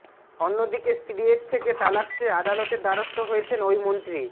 অন্যদিকে স্ত্রীয়ের থেকে তালাক চেয়ে আদালতের দ্বারস্থ হয়েছেন ওই মন্ত্রী